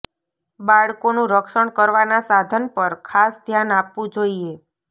બાળકોનું રક્ષણ કરવાના સાધન પર ખાસ ધ્યાન આપવું જોઈએ